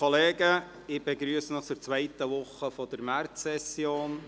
Ich begrüsse Sie zur zweiten Woche der Märzsession.